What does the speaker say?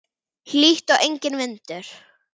Hlýtt og enginn vindur.